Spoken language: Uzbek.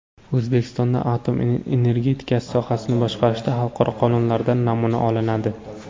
O‘zbekistonda atom energetikasi sohasini boshqarishda xalqaro qonunlardan namuna olinadi.